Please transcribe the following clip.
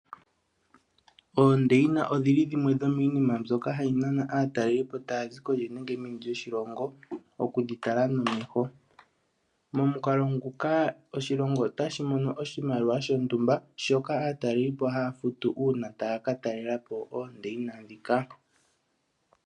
Oondeyina odhili dhimwe dhomi nima mbyoka hayi nana aatalelipo taya zi kondje nenge meni lyoshilongo okudhi tala nomeho momukalo nguka oshilongo otashi mono oshimaliwa shontumba shoka aatalelipo haya futu uuna taya ka talelapo oondeyina ndhika.